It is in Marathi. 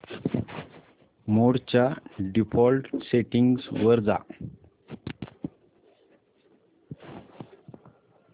मोड च्या डिफॉल्ट सेटिंग्ज वर जा